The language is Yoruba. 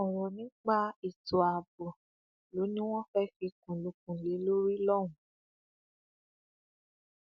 ọrọ nípa ètò ààbò ló ní wọn fẹẹ fikùn lukùn lé lórí lọhùnún